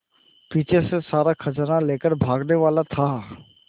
पीछे से सारा खजाना लेकर भागने वाला था